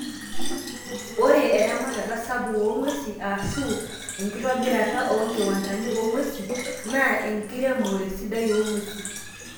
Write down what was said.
Ore eramatata sapuk oongwesi aashu enkitobirata oonkiwandani oongwesi naa enkiremore sidai oongwesi.